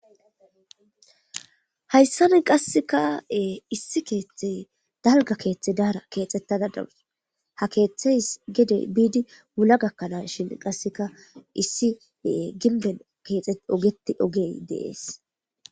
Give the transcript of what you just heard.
hayssani qasseka ee issi keeththey dalga keeththe daara keexxettada dawus ha keeththeys gedey biidi wula gakkanaasshin qasseka issi ee ginben keexe ogetti ogey de'es